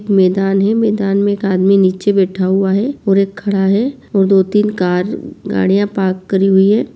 मैदान है मैदान में एक आदमी नीचे बैठा हुआ है और एक खड़ा है और दो तीन कार गाड़ियाँ पार्क करी हुई हैं।